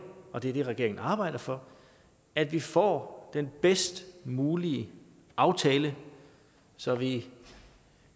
og det er det regeringen arbejder for at vi får den bedst mulige aftale så vi